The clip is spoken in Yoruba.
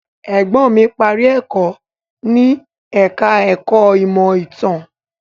Ẹ̀gbọ́n mí parí ẹ̀kọ́ ní ẹ̀ka ẹ̀kọ́ ìmọ̀ ìtàn.